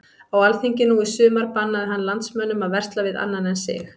Á alþingi nú í sumar bannaði hann landsmönnum að versla við annan en sig.